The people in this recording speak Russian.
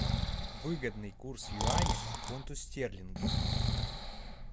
выгодный курс юаня к фунту стерлингов